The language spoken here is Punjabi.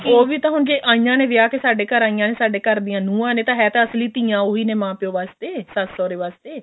ਉਹ ਵੀ ਤਾਂ ਹੁਣ ਜੇ ਆਈਆਂ ਨੇ ਵਿਆਹ ਕੇ ਸਾਡੇ ਘਰ ਆਈਆਂ ਨੇ ਸਾਡੇ ਘਰ ਦੀਆਂ ਨੁਹਾਂ ਨੇ ਤਾਂ ਹੈ ਤਾਂ ਅਸਲੀ ਧੀਆਂ ਓਹੀ ਨੇ ਮਾਂ ਪਿਓ ਵਾਸਤੇ ਸੱਸ ਸੋਹਰੇ ਵਾਸਤੇ